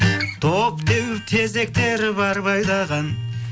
доп теуіп тезек теріп арба айдаған